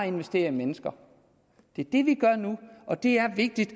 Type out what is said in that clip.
investere i mennesker det er det vi gør nu og det er vigtigt